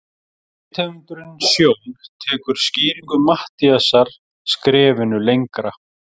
Rithöfundurinn Sjón tekur skýringu Matthíasar skrefinu lengra.